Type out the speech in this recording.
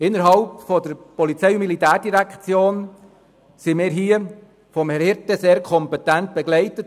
Seitens der POM wurden wir von Herrn Florian Hirte sehr kompetent begleitet;